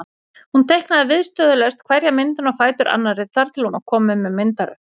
Hún teiknaði viðstöðulaust hverja myndina á fætur annarri þar til hún var komin með myndaröð.